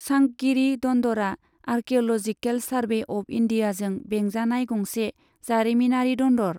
सांकगिरी दन्दरा archaeological survey of इन्डियाजों बेंजानाय गंसे जारिमिनारि दन्दर।